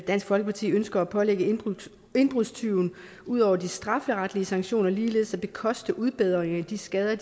dansk folkeparti ønsker at pålægge indbrudstyven ud over de strafferetlige sanktioner ligeledes at bekoste en udbedring af de skader